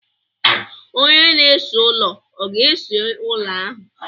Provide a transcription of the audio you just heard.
Onye na-ese ụlọ ọ ga ese ụlọ ahụ?